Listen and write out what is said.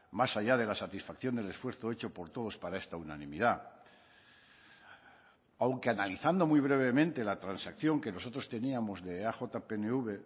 más allá de la satisfacción del esfuerzo hecho por todos para esta unanimidad aunque analizando muy brevemente la transacción que nosotros teníamos de eaj pnv